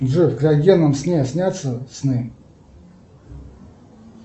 джой в криогенном сне снятся сны